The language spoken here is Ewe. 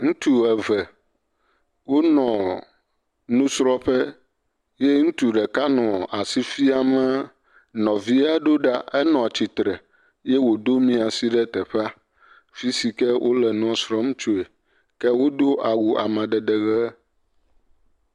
Ŋutsu eve, wonɔ nusrɔ̃ƒe ye ŋutsu ɖeka nɔ asi fiame nɔvia do ɖa enɔ atsitre eye wòdo miasi ɖe teƒe si fi ke wonɔ nua srɔ̃m tsoe ke wo do awu amadede ʋe.